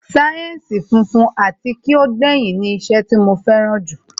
sáyẹ́ǹsì funfun ati ki o gbẹyin ni iṣẹ́ tí mo fẹ́ràn jù